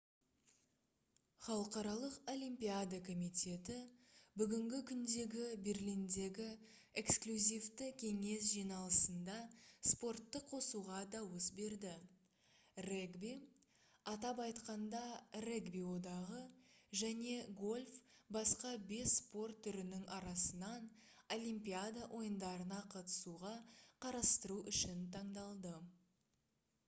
халықаралық олимпиада комитеті бүгінгі күндегі берлиндегі эксклюзивті кеңес жиналысында спортты қосуға дауыс берді регби атап айтқанда регби одағы және гольф басқа бес спорт түрінің арасынан олимпиада ойындарына қатысуға қарастыру үшін таңдалды